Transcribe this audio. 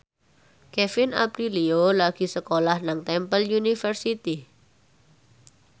Kevin Aprilio lagi sekolah nang Temple University